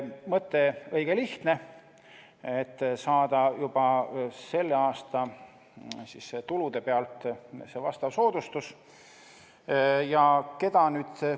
Mõte on õige lihtne: saada vastav soodustus juba selle aasta tulude pealt.